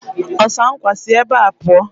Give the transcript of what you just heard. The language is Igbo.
Ọsa nkwa! Si ebea pụọ!